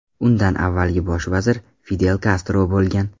Undan avvalgi bosh vazir Fidel Kastro bo‘lgan.